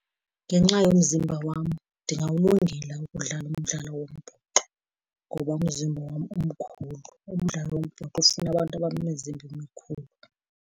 Ngenxa yomzimba wam ndingawulungela ukudlala umdlalo wombhoxo ngoba umzimba wam umkhulu. Umdlalo wombhoxo ufuna abantu abanemizimba emikhulu.